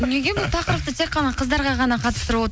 неге бұл тақырыпты тек қана қыздарға ғана қатыстырып